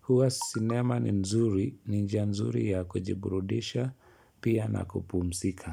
Huwa sinema ni nzuri, ni njia nzuri ya kujiburudisha pia na kupumzika.